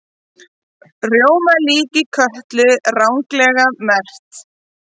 Rjómalíki Kötlu ranglega merkt